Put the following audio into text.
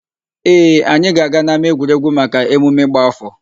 Ee, anyị ga-aga n'ámáegwuregwu maka emume ịgba áfọ̀.